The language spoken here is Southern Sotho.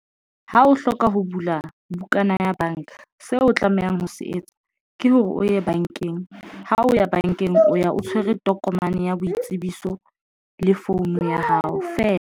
Ha o hloka ho bula bukana ya banka seo o tlamehang ho se etsa ke hore o ye bankeng ha o ya bankeng, o ya o tshwere tokomane ya boitsebiso le phone ya hao feela.